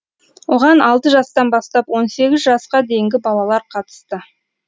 оған алты жастан бастап он сегіз жасқа дейінгі балалар қатысты